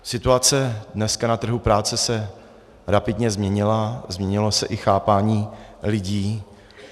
Situace dneska na trhu práce se rapidně změnila, změnilo se i chápání lidí.